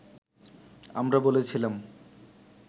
আমরা বলেছিলাম